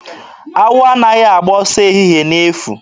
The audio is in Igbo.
Awọ anaghị agba ọsọ ehihe n'efu.